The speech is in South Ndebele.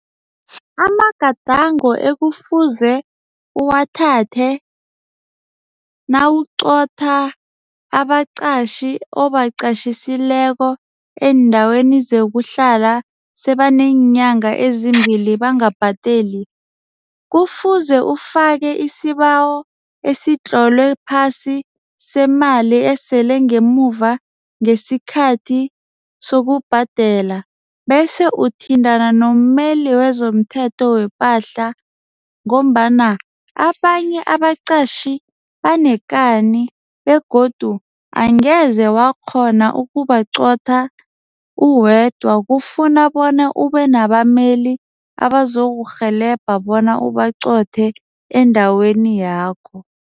Amagadango ekufuze uwathathe nawuqotha abaqatjhi obaqatjhisileko eendaweni zokuhlala sebaneenyanga ezimbili bangabhadeli. Kufuze ufake isibawo esitlolwe phasi semali esele ngemuva ngesikhathi sokubhadela bese uthintana nomeli wezomthetho wepahla. Ngombana abanye abaqatjhi banekani begodu angeze wakghona ukubaqotjha uwedwa. Kufuna bona ube nabameli abazokurhelebha bona ubaqothe endaweni yakho.